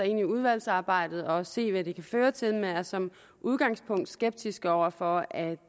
i udvalgsarbejdet og se hvad det kan føre til men er som udgangspunkt skeptiske over for at